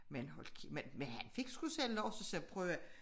Men hold men han fik sgu selv lov så sagde jeg prøv at hør her